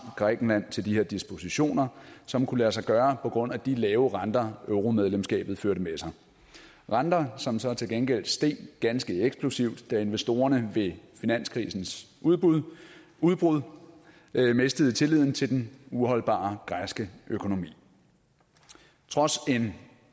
grækenland til de her dispositioner som kunne lade sig gøre på grund af de lave renter euromedlemskabet førte med sig renter som så til gengæld steg ganske eksplosivt da investorerne ved finanskrisens udbrud udbrud mistede tilliden til den uholdbare græske økonomi trods en